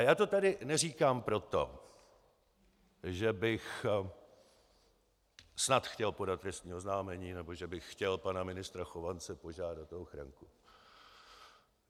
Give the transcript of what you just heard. A já to tady neříkám proto, že bych snad chtěl podat trestní oznámení nebo že bych chtěl pana ministra Chovance požádat o ochranu.